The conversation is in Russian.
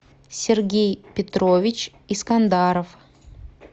сергей петрович искандаров